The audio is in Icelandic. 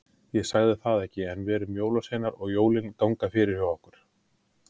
Ég sagði það ekki, en við erum jólasveinar og jólin ganga fyrir hjá okkur.